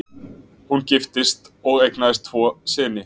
Hún giftist og eignaðist tvo syni